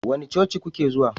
Wani coci kuke zuwa?